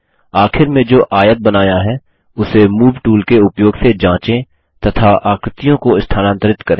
आखिर में जो आयत बनाया है उसे मूव टूल के उपयोग से जांचे तथा आकृतियों को स्थानांतरित करें